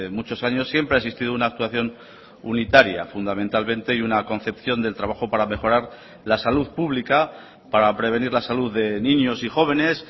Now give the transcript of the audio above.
muchos años siempre ha existido una actuación unitaria fundamentalmente y una concepción del trabajo para mejorar la salud pública para prevenir la salud de niños y jóvenes